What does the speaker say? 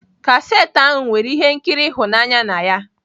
Cassette ahụ nwere ihe nkiri ịhụnanya na ya.